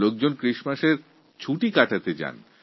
অনেকে Christmasএর ছুটি কাটাতে বাইরে যান